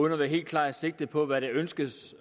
et helt klart sigte på hvad der ønskes